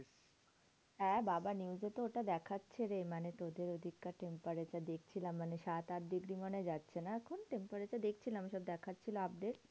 হ্যাঁ বাবা news এ তো ওটা দেখাচ্ছে রে। মানে তোদের ওদিককার temperature দেখছিলাম। মানে সাত আট degree মনে হয় যাচ্ছে না এখন temperature? দেখছিলাম সব দেখাচ্ছিল update.